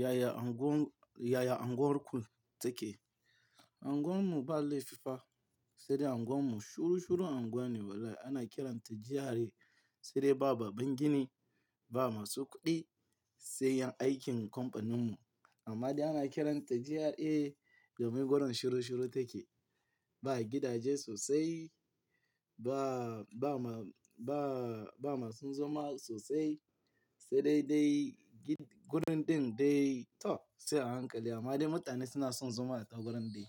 Yaya unguwar, yaya unguwar kun take? Unguwar mu ba laifi fa, sai dai unguwar mu shuru shuru unguwa ne walai. Ana kiranta GRA sai dai ba baban gini, ba masu kuɗi sai yan aikin kamfanin mu. Amma dai ana kiranta GRA domin gurin shuru shuru take. Ba gidaje sosai, ba, ba ma, ba, ba masu zama sosai sai dai dai gurin ɗin dai to sai a hankali. Amma dai mutane suna son zama a tagurin dai